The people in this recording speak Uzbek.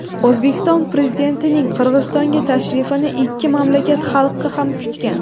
O‘zbekiston Prezidentining Qirg‘izistonga tashrifini ikki mamlakat xalqi ham kutgan.